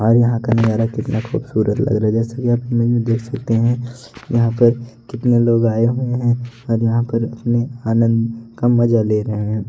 और यहां का नजारा कितना खूबसूरत लग रहा है जैसे कि आप देख सकते है यहां पर कितने लोग आए हुए हैं और यहां पर अपने आनंद का मजा ले रहे हैं।